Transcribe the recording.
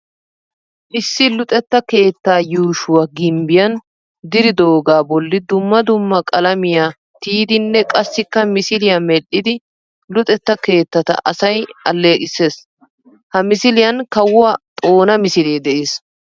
Issi luxettaa keettaa yuushshuwa gimbbiyaan diridoogaa bolli dumma dumma qalamiya tiyidinne qassikka misiliya medhdhidi luxetta keettata asay aleeqissees. Ha misiliyan Kawuwa xona misilee de'ees.